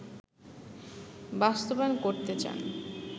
বাস্তবায়ন করতে চান